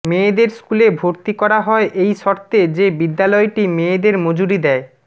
মেয়েদের স্কুলে ভর্তি করা হয় এই শর্তে যে বিদ্যালয়টি মেয়েদের মজুরি দেয়